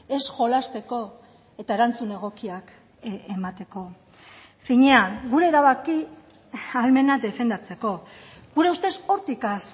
ez jolasteko eta erantzun egokiak emateko finean gure erabaki ahalmena defendatzeko gure ustez hortik has